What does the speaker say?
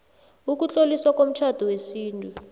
ukutloliswa komtjhado wesintu